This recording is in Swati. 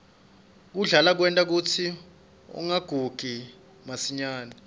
kudlala kwenta kutsi ungagugi masinyane